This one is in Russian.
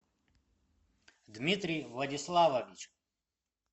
дмитрий владиславович